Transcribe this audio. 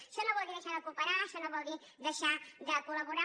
això no vol dir deixar de cooperar això no vol dir deixar de col·laborar